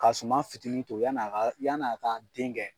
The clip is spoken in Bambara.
Ka suma fitinin to yanni a ka yanni a ka den kɛ.